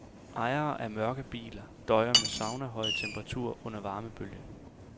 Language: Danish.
Ejere af mørke biler døjer med saunahøje temperaturer under varmebølgen.